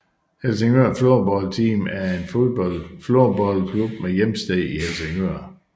Helsingør Floorball Team er en floorballklub med hjemsted i Helsingør